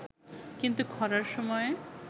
কিন্তু খরার সময়ে